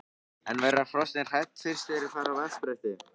En verða hrossin hrædd fyrst þegar þau fara á vatnsbrettið?